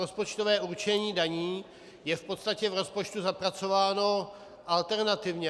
Rozpočtové určení daní je v podstatě v rozpočtu zapracováno alternativě.